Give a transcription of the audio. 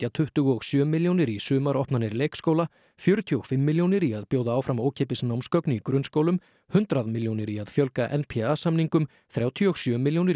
tuttugu og sjö milljónir í sumaropnanir leikskóla fjörutíu og fimm milljónir í að bjóða áfram ókeypis námsgögn í grunnskólum hundrað milljónir í að fjölga n p a samningum þrjátíu og sjö milljónir